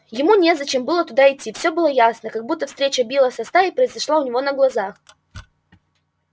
ему незачем было идти туда всё ьыло ясно как будто встреча билла со стаей произошла у него на глазах